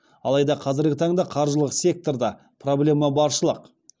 алайда қазіргі таңда қаржылық секторда проблема баршылық